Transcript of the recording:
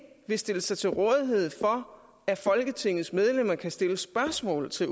vil stille sig til rådighed for at folketingets medlemmer kan stille spørgsmål til